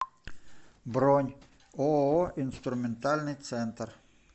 бронь ооо инструментальный центр